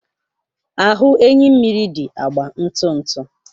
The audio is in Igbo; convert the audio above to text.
Ahụ enyimmiri dị agba ntụ ntụ.